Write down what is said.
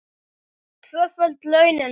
Tvöföld launin mín.